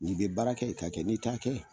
N'i be baara kɛ, i ka kɛ n'i t'a kɛ